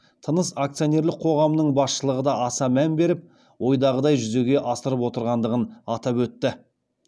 тыныс акционерлік қоғамының басшылығы да аса мән беріп ойдағыдай жүзеге асырып отырғандығын атап өтті